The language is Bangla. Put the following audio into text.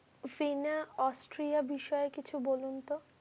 সিনা astralia বিষয়ে কিছু বলুন তো?